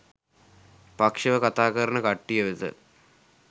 පක්ෂව කතා කරන කට්ටිය වෙත